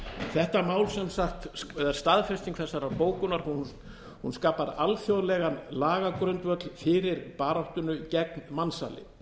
þetta mál sem sagt eða staðfesting þessarar bókunar skapar alþjóðlegan lagagrundvöll fyrir baráttunni gegn mansali eins og ég sagði